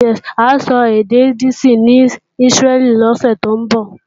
A ó sọ èdè Yídíìṣì ní Ísírẹ́lì lọ́sè tó ń bọ̀